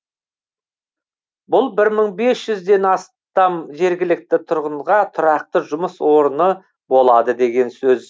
бұл бір мың бес жүзден астам жергілікті тұрғынға тұрақты жұмыс орны болады деген сөз